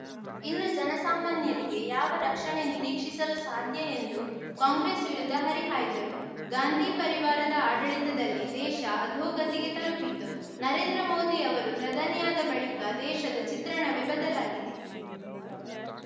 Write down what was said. ಇನ್ನು ಜನಸಾಮಾನ್ಯರಿಗೆ ಯಾವ ರಕ್ಷಣೆ ನಿರೀಕ್ಷಿಸಲು ಸಾಧ್ಯ ಎಂದು ಕಾಂಗ್ರೆಸ್‌ ವಿರುದ್ಧ ಹರಿಹಾಯ್ದರು ಗಾಂಧಿ ಪರಿವಾರದ ಆಡಳಿತದಲ್ಲಿ ದೇಶ ಅಧೋಗತಿಗೆ ತಲುಪಿತ್ತು ನರೇಂದ್ರ ಮೋದಿ ಅವರು ಪ್ರಧಾನಿಯಾದ ಬಳಿಕ ದೇಶದ ಚಿತ್ರಣವೇ ಬದಲಾಗಿದೆ